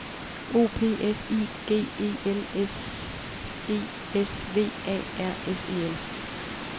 O P S I G E L S E S V A R S E L